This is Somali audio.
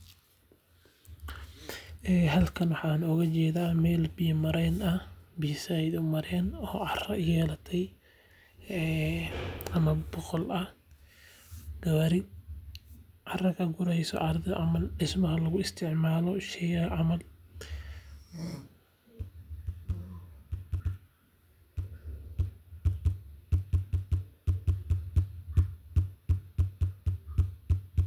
Halkan waxaa ooga jeeda meel biya mareen ah oo cara yeelate gawaari carada ka gureyso loo isticmaalo.